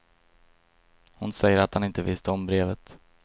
Hon säger att han inte visste om brevet.